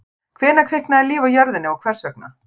Hvenær kviknaði líf á jörðinni og hvers vegna?